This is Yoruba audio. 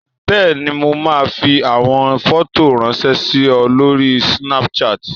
Bẹ́ẹ̀ni, mo máa fi àwọn fọ́tò ráńṣẹ́ sí ọ lórí Snapchat.